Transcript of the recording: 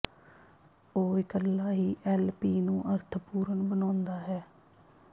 ਉਹ ਇਕੱਲਾ ਹੀ ਐਲ ਪੀ ਨੂੰ ਅਰਥਪੂਰਨ ਬਣਾਉਂਦਾ ਹੈ